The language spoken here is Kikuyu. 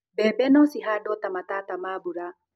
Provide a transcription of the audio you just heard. mbembe no cihandũo ta matata ma mbura